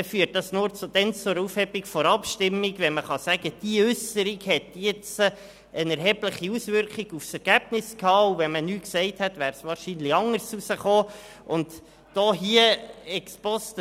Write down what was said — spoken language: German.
Er führt nur dann zur Aufhebung des Abstimmungsresultats, wenn man sagen kann, die Äusserung des Regierungsmitglieds habe eine erhebliche Auswirkung auf das Ergebnis gehabt und das Ergebnis wäre wahrscheinlich anders herausgekommen, wenn das betreffende Regierungsmitglied nichts gesagt hätte.